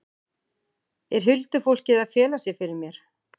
Er huldufólkið að fela sig fyrir mér?